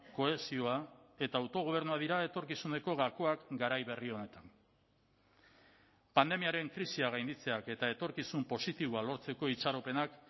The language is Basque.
kohesioa eta autogobernua dira etorkizuneko gakoak garai berri honetan pandemiaren krisia gainditzeak eta etorkizun positiboa lortzeko itxaropenak